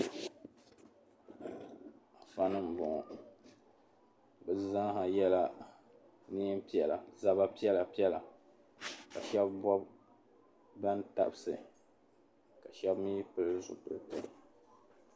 Afanima m-bɔŋɔ bɛ zaa yɛla nɛm’piɛla zaba piɛlapiɛla ka shɛba bɔbi tabisi ka shɛba mi pili zupiliti.